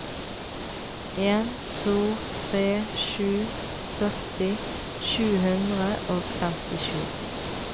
en to tre sju førti sju hundre og femtisju